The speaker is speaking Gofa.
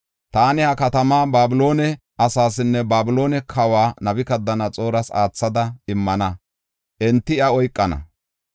Taani ha katamaa Babiloone asaasinne Babiloone kawa Nabukadanaxooras aathada immana; enti iya oykana.